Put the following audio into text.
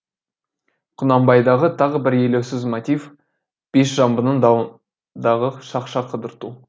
құнанбайдағы тағы бір елеусіз мотив бесжамбының дауындағы шақша қыдырту